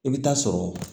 I bɛ taa sɔrɔ